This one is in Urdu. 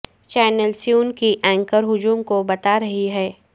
چینل سیون کی اینکر ہجوم کو بتا رہی ہے